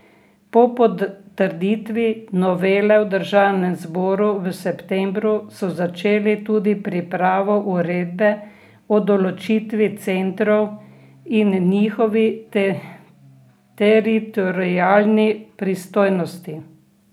Po potrditvi novele v državnem zboru v septembru so začeli tudi pripravo uredbe o določitvi centrov in njihovi teritorialni pristojnosti.